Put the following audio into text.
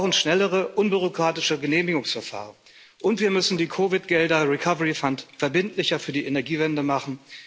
Wir brauchen schnellere, unbürokratische Genehmigungsverfahren und wir müssen die COVID Gelder Recovery Fund verbindlicher für die Energiewende machen.